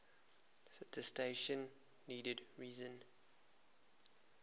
citation needed reason